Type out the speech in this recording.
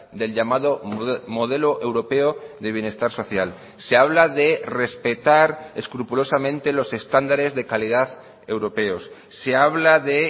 del llamado modelo europeo de bienestar social se habla de respetar escrupulosamente los estándares de calidad europeos se habla de